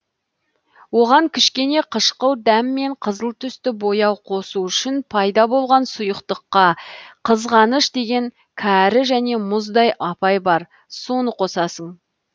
оған кішкене қышқыл дәм мен қызыл түсті бояу қосу үшін пайда болған сұйықтыққа қызғаныш деген кәрі және мұздай апай бар соны қосасың